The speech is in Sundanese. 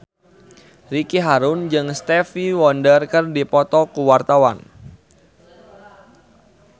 Ricky Harun jeung Stevie Wonder keur dipoto ku wartawan